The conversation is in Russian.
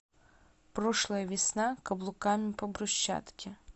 прошлая весна каблуками по брусчатке